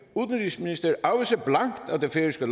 udenrigsminister afviser blankt at det færøske